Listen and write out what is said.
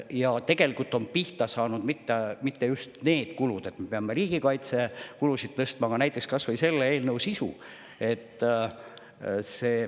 Aga tegelikult pole me pihta saanud mitte ainult, et me peame riigikaitsekulusid tõstma, vaid näiteks võib tuua ka kas või selle eelnõu sisu.